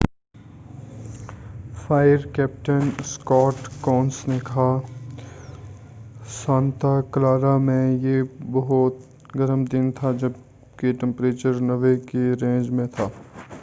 fire captain Scott Kounce نے کہا Santa Clara میں یہ بہت گرم دن تھا جب کہ ٹمپریچر 90 کے رینج میں تھا